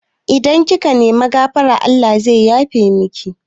Idan kika nemi gafara Allah zai yafe miki